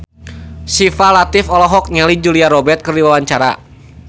Syifa Latief olohok ningali Julia Robert keur diwawancara